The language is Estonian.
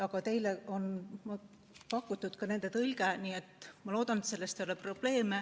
Ent teile on pakutud ka nende tõlge, nii et ma loodan, et see ei ole probleem.